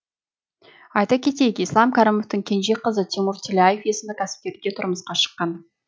айта кетейік ислам кәрімовтің кенже қызы тимур тилляев есімді кәсіпкерге тұрмысқа шыққан